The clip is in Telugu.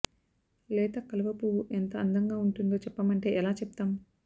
లేత కలువపువ్వు ఎంత అందంగా ఉంటుందో చెప్పమంటే ఎలా చెప్తాం